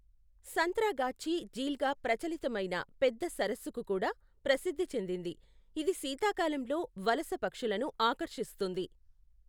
సంత్రాగాచ్చి ఝీల్గా ప్రచలితమైన పెద్ద సరస్సుకు కూడా ప్రసిద్ధి చెందింది, ఇది శీతాకాలంలో వలస పక్షులను ఆకర్షిస్తుంది.